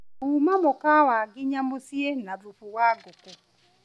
kuuma mũkawa nginya mũciĩ na thufu wa ngũkũ